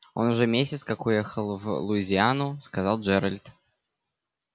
он уже месяц как уехал в луизиану сказал джеральд